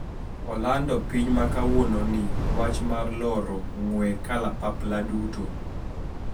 Olando piny ma kawuononi wach mar loro ng`we kalapapla duto